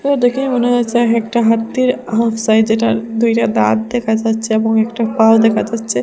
দেখেই মনে হয়েছে এক একটা হাতির হাফ সাইজ এটার দুইটা দাঁত দেখা যাচ্ছে এবং একটা পাও দেখা যাচ্ছে।